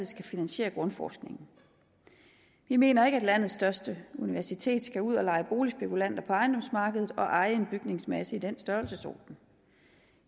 skal finansiere grundforskningen vi mener ikke at landets største universitet skal ud og lege boligspekulant på ejendomsmarkedet og eje en bygningsmasse i den størrelsesorden